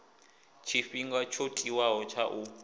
tshifhinga tsho tiwaho tsha u